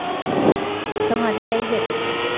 તો મને લઇ જજે